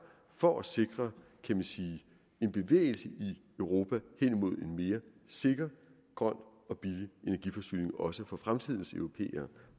for at sikre en bevægelse i europa hen imod en mere sikker grøn og billig energiforsyning også for fremtidens europæere